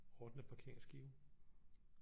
Ordne parkeringsskiven